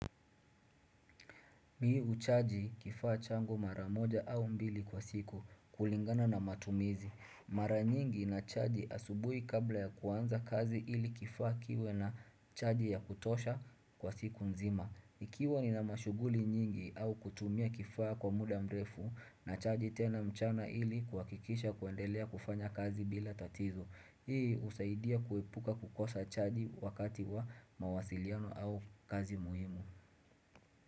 Mii huchaji kifaa changu mara moja au mbili kwa siku kulingana na matumizi. Mara nyingi na chaji asubuhi kabla ya kuanza kazi ili kifaa kiwe na chaji ya kutosha kwa siku nzima. Ikiwa ni na mashughuli nyingi au kutumia kifaa kwa muda mrefu na chaji tena mchana ili kuhakikisha kuendelea kufanya kazi bila tatizo. Hii husaidia kuepuka kukosa chaji wakati wa mawasiliano au kazi muhimu.